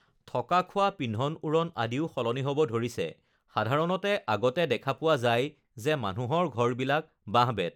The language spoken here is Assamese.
থকা খোৱা পিন্ধন-উৰণ আদিও সলনি হ'ব ধৰিছে সাধাৰণতে আগতে দেখা পোৱা যায় যে মানুহৰ ঘৰবিলাক বাঁহ-বেত